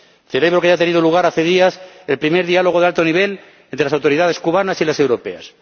Celebro que haya tenido lugar, hace días, el primer diálogo de alto nivel entre las autoridades cubanas y las europeas.